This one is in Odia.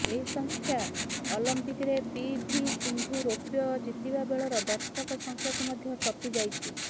ଏହି ସଂଖ୍ୟା ଅଲମ୍ପିକରେ ପିଭି ସିନ୍ଧୁ ରୌପ୍ୟ ଜିତିବା ବେଳର ଦର୍ଶକ ସଂଖ୍ୟାକୁ ମଧ୍ୟ ଟପି ଯାଇଛି